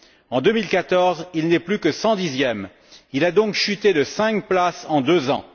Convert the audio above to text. en 2014, il n'était plus que 110e. Il a donc chuté de 5 places en deux ans.